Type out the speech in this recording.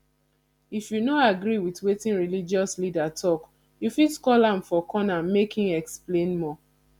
if you no agree with wetin religious leader talk you fit call am for corner make im explain more